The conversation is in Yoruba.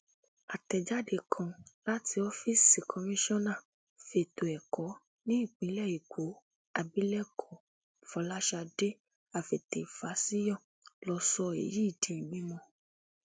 àtẹjáde kan láti ọfíìsì kọmíṣọ́nà fétò ẹ̀kọ́ nípìnlẹ èkó abilékọ fọláṣadé àfetéfásiyọ ló sọ èyí di mímọ̀